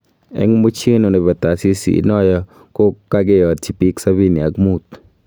Eng muchinu nebo taasiisi inoyo ko kakeyatyi biik sabini ak muut